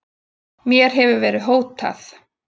Mér hefur verið hótað